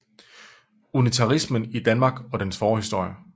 Unitarismen i Danmark og dens forhistorie